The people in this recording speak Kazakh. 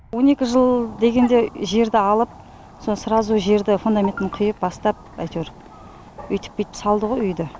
он екі жыл дегенде жерді алып сразу жерді фундаментін құйып бастап әйтеуір үйтіп бүйтіп салды ғо үйді